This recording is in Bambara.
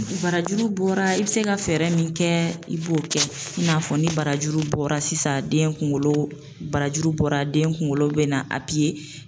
Barajuru bɔra i bɛ se ka fɛɛrɛ min kɛ i b'o kɛ i n'a fɔ ni barajuru bɔra sisan den kunkolo barajuru bɔra den kunkolo bɛ na